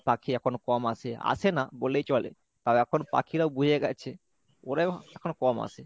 পাখি এখন কম আসে আসে না বললেই চলে আর এখন পাখিরাও বুঝে গেছে ওরাই এখন কম আসে।